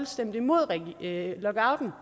stemte imod lockouten